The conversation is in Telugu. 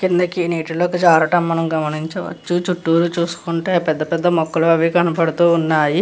కింద నీటిలోకి జారడం మనం గమానిచవచ్చు. చుట్టూరు చూసుకుంటే పెద్ద పెద్ద మొక్కలు కనిపిస్తున్నాయి.